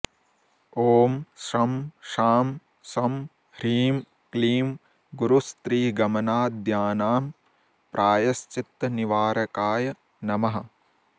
ॐ शं शां षं ह्रीं क्लीं गुरुस्त्रीगमनाद्यानाम्प्रायश्चित्तनिवारकाय नमः